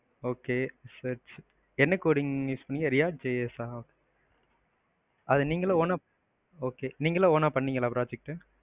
okay research என்ன coding use பண்ணி react js ஆ. அத நீங்களே own ஆ okay நீங்களே பண்ணிங்களா project டு?